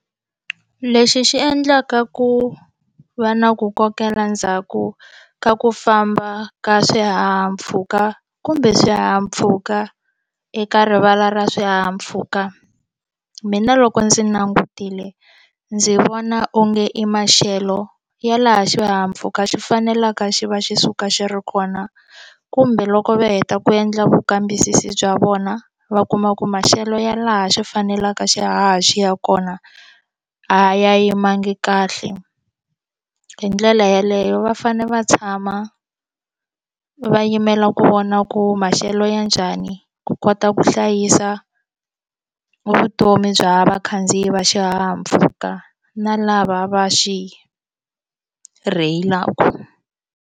Lexi xi endlaka ku va na ku kokela ndzhaku ka ku famba ka swihahampfhuka kumbe swihahampfhuka eka rivala ra swihahampfhuka mina loko ndzi langutile ndzi vona onge i maxelo ya laha xihahampfhuka xi faneleke xi va xi suka xi ri kona kumbe loko va heta ku endla vukambisisi bya vona va kuma ku maxelo ya laha xi faneleke xihaha xi ya kona a ya yimanga kahle hi ndlela yeleyo va fanele va tshama va yimela ku vona ku maxelo ya njhani ku kota ku hlayisa vutomi bya vakhandziyi va xihahampfhuka na lava va xi rheyilaka.